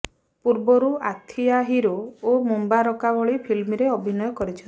ପୂର୍ବରୁ ଆଥିୟା ହିରୋ ଓ ମୁବାଁରକା ଭଳି ଫିଲ୍ମରେ ଅଭିନୟ କରିଛନ୍ତି